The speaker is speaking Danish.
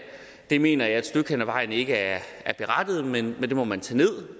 det mener jeg et stykke hen ad vejen ikke er berettiget men det må man tage ned